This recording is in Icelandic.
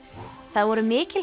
það voru mikil